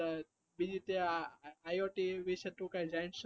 બી જુ કઈ આ iot વિષે કઈ જાણ છે